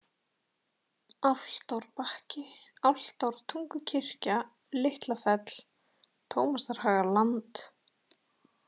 Álftárbakki, Álftártungukirkja, Litla-Fell, Tómasarhagaland